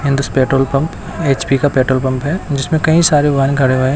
हिंदुस petrol pump H P का petrol pump है जिसमें कई सारे बन खड़े हुए ।